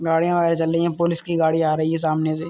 गाड़ीया चल रही हैं। पुलिस की गाड़ी आ रही है सामने से।